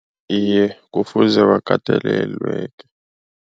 Iye, kufuze bakatelelwe.